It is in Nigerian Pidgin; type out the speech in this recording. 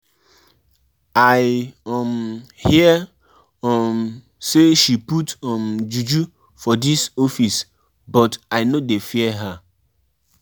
Traditional beliefs fit blend wit modern life; no be all bad.